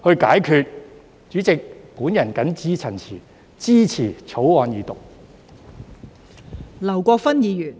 代理主席，我謹此陳辭，支持有關的《條例草案》。